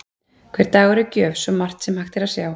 Hver dagur er gjöf, svo margt sem að hægt er að sjá.